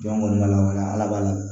Jɔn kɔni b'a la walawala ala b'a